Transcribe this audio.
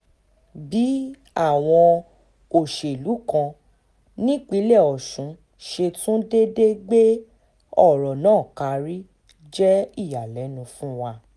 bí àwọn olóṣèlú kan nípínlẹ̀ ọ̀sùn ṣe tún déédé gbé ọ̀rọ̀ náà karí jẹ́ ìyàlẹ́nu fún wa